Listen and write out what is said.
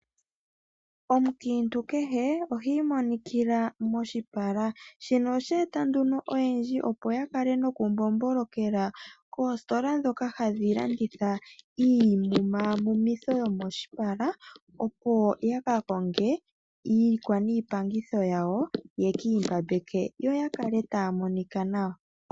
Omukiintu kehe ohi imonikila moshipala, oshe eta nduno oyendji opo ya kale nokumbombolokela koositola ndhoka ha dhilanditha iimaamumitho yomoshipala yo yakajonge iikwa niipaangitho ya wo ye kiimbambambe yo yakale taya monika nawa.